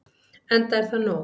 Enda er það nóg.